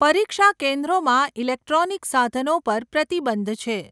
પરીક્ષા કેન્દ્રોમાં ઈલેક્ટ્રોનિક સાધનો પર પ્રતિબંધ છે.